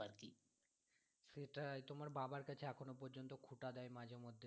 সেটাই তোমার বাবার কাছে এখনও পর্যন্ত খোটা দেয় মাঝে মধ্যে